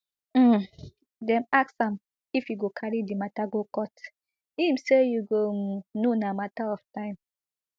um dem ask am if e go carry di mata go court im say you go um know na mata of time